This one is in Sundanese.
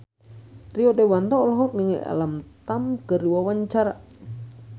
Rio Dewanto olohok ningali Alam Tam keur diwawancara